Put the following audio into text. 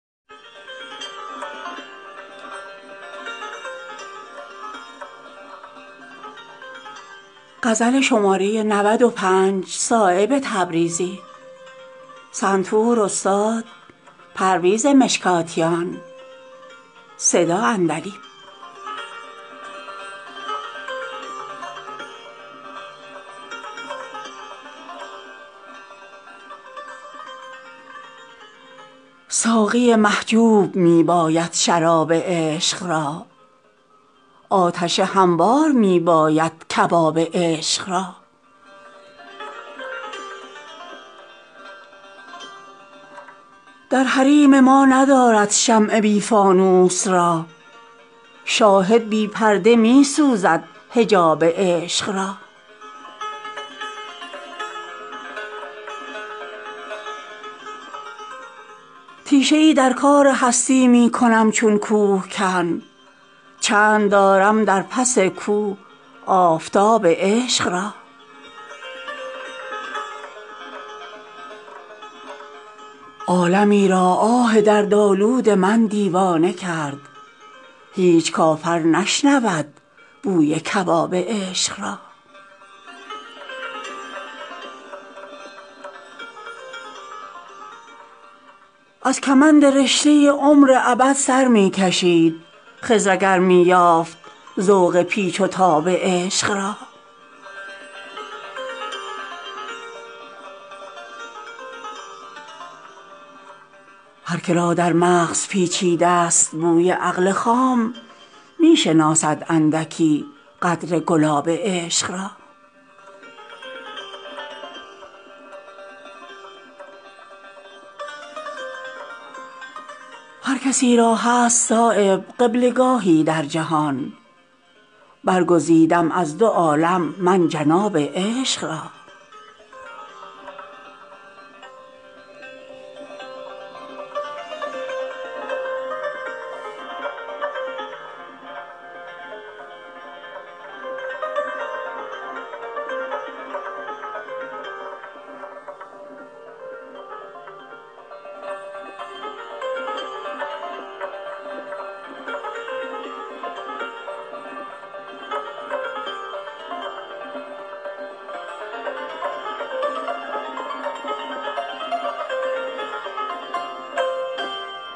ساقی محجوب می باید شراب عشق را آتش هموار می باید کباب عشق را در حریم ما ندارد شمع بی فانوس راه شاهد بی پرده می سوزد حجاب عشق را تیشه ای در کار هستی می کنم چون کوهکن چند دارم در پس کوه آفتاب عشق را عالمی را آه دردآلود من دیوانه کرد هیچ کافر نشنود بوی کباب عشق را از کمند رشته عمر ابد سر می کشید خضر اگر می یافت ذوق پیچ و تاب عشق را هر که را در مغز پیچیده است بوی عقل خام می شناسد اندکی قدر گلاب عشق را هر کسی را هست صایب قبله گاهی در جهان برگزیدم از دو عالم من جناب عشق را